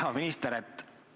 Hea minister!